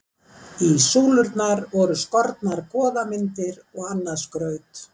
Í súlurnar voru skornar goðamyndir og annað skraut.